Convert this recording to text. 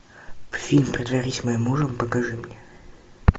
фильм притворись моим мужем покажи мне